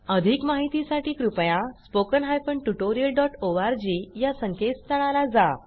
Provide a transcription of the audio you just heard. अधिक माहितीसाठी कृपया spoken hyphen tutorial dot ORG या संकेतस्थळाला जा